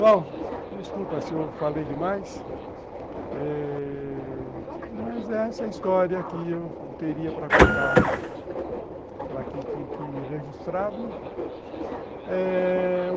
Bom, desculpa se eu falei demais, mas essa é a história que eu teria para contar para que fique registrado.